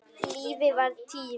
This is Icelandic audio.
Lífið var tíminn.